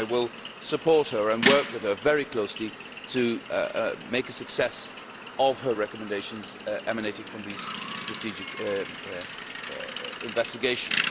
I will support her and work with her very closely to make a success of her recommendations emanating from these strategic investigations.